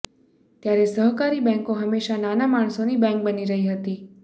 ત્યારે સહકારી બેંકો હંમેશા નાના માણસોની બેંક બની રહી છે